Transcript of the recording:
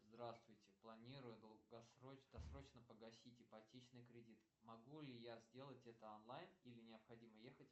здравствуйте планирую досрочно погасить ипотечный кредит могу ли я сделать это онлайн или необходимо ехать